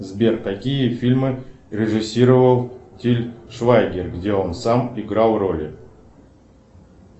сбер какие фильмы режиссировал тиль швайгер где он сам играл роли